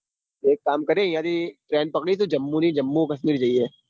તો એક કરીએ અહીંયા થી train ટ્પકડીશુ જાંબુની જાંબુ કાશ્મીર જઈએ.